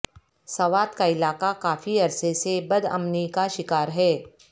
سوات کا علاقہ کافی عرصے سے بد امنی کا شکار ہے